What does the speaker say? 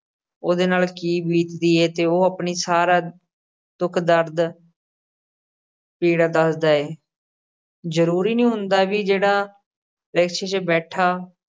ਉਹਦੇ ਨਾਲ ਕੀ ਬੀਤਦੀ ਏ ਤੇ ਉਹ ਆਪਣਾ ਸਾਰਾ ਦੁੱਖ ਦਰਦ ਪੀੜਾ ਦੱਸਦਾ ਏ। ਜ਼ਰੂਰੀ ਨੀ ਹੁੰਦਾ ਕਿ ਜਿਹੜਾ rickshaw 'ਚ ਬੈਠਾ